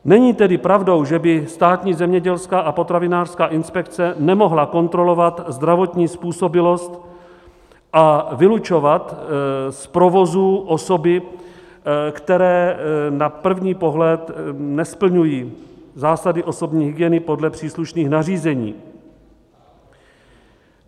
Není tedy pravdou, že by Státní zemědělská a potravinářská inspekce nemohla kontrolovat zdravotní způsobilost a vylučovat z provozů osoby, které na první pohled nesplňují zásady osobní hygieny podle příslušných nařízení.